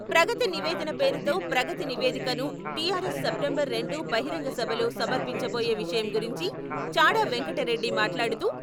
ప్రగతి నివేదన పేరుతో ప్రగతి నివేదికను టీఆర్ఎస్ సెప్టెంబర్ రెండున బహిరంగ సభలో సమర్పించబోయే విషయం గురించి చాడ వెంకటరెడ్డి మాట్లాడుతూ...